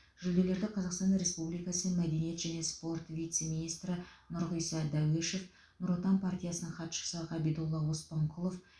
жүлделерді қазақстан республикасы мәдениет және спорт вице министрі нұрғиса дәуешов нұр отан партиясының хатшысы ғабидолла оспанқұлов